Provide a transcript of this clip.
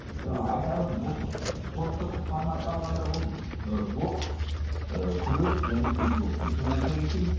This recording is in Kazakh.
айтарым бұл спорттық форматта алғанда бұл ы бокс ы күрес және кикбоксинг соны айта кетейін